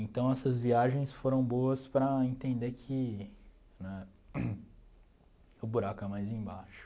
Então, essas viagens foram boas para entender que né... O buraco é mais embaixo.